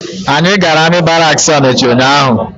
Anyị gara amị baraksi Ọnịcha ụnyaahụ.